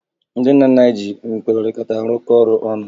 Ndị nna nna anyị ji nkwekọrịta rụkọọ ọrụ ọnụ